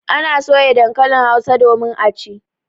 Ana soya dankalin Hausa domin a ci.